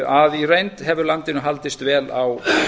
að í reynd hefur landinu haldist vel á